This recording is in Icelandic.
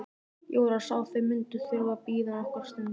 Jóra sá að þau mundu þurfa að bíða nokkra stund.